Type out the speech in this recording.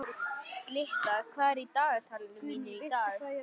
Glytta, hvað er í dagatalinu mínu í dag?